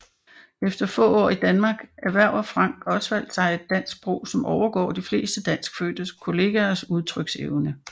Efter få år i Danmark erhverver Frank Osvald sig et dansk sprog som overgår de fleste danskfødtes kollegers udtryksevne